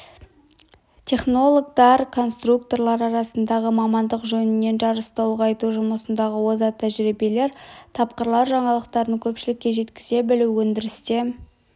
технологтар конструкторлар арасындағы мамандық жөнінен жарысты ұлғайту жұмыстағы озат тәжірибелер тапқырлар жаңалықтарын көпшілікке жеткізе білу өндірісте